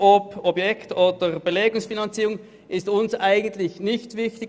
Ob pro Objekt oder pro Belegung finanziert wird, ist der SP-JUSO-PSA-Fraktion eigentlich nicht wichtig.